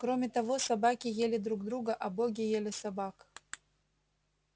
кроме того собаки ели друг друга а боги ели собак